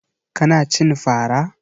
Ka na cin fara?